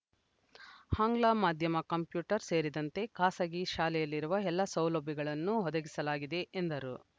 ಆಂಗ್ಲ ಮಾಧ್ಯಮ ಕಂಪ್ಯೂಟರ್‌ ಸೇರಿದಂತೆ ಖಾಸಗಿ ಶಾಲೆಯಲ್ಲಿರುವ ಎಲ್ಲಾ ಸೌಲಭ್ಯಗಳನ್ನು ಒದಗಿಸಲಾಗಿದೆ ಎಂದರು